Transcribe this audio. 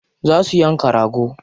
Za su yanka rago.